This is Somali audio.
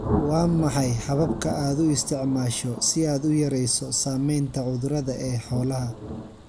Waa maxay hababka aad u isticmaasho si aad u yarayso saamaynta cudurada ee xoolaha?